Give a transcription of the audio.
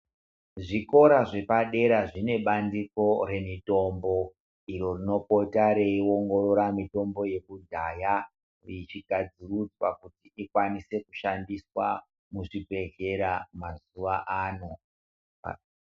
Zvikora zvepadera zvinebandiko remitombo, inopota riyiwongorora mitombo yakudhaya ichigadzurudzwa kuti ikwanise kushandiswa muzvibhedlera mazuvaano.